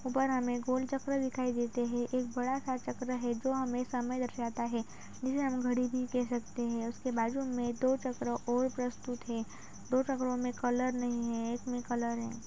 ऊपर हमें गोल चक्र दिखाई देते है एक बड़ा सा चक्र है जो हमें समय दर्शाता है जिसे हम घड़ी भी कह सकते है इसके बाजू में दो चक्र और प्रस्तुत है दो चक्रो में कलर नहीं है एक में कलर है।